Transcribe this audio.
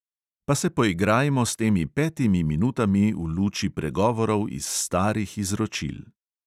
Pa se poigrajmo s temi petimi minutami v luči pregovorov iz starih izročil.